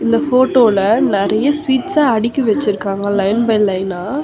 இந்த ஃபோட்டோல நிறைய ஸ்வீட்ஸ்ச அடுக்கி வச்சிருக்காங்க லைன் பை லைனா .